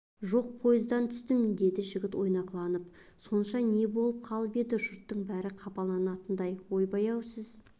жоқ поездан түстім деді жігіт ойнақыланып сонша не болып қалып еді жұрттың бәрі қапылатындай ойбай-ау сіз